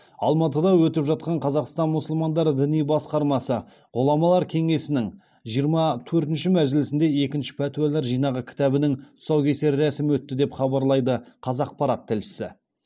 алматыда өтіп жатқан қазақстан мұсылмандары діни басқармасы ғұламалар кеңесінің жиырма төртінші мәжілісінде екінші пәтуалар жинағы кітабының тұсаукесер рәсімі өтті деп хабарлайды қазақпарат тілшісі